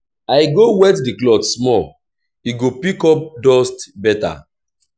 i go wet di cloth small e go pick up dust beta.